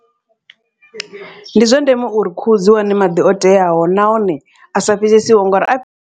Ndi zwa ndeme uri khuhu dzi wane maḓi o teaho nahone a sa fhisesiho ngori a.